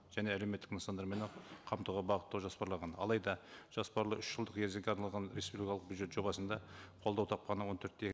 және әлеуметтік нысандармен ақ қамтуға бағыттау жоспарланған алайда жоспарлы үш жылдық мерзімге арналған республикалық бюджет жобасында қолдау тапқаны он төрт те